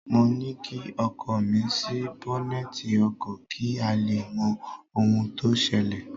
Mo ní kí ọkọ mi ṣí bọ́nẹ́tì ọkọ̀ kí a lè mọ ohun tó ṣẹlẹ̀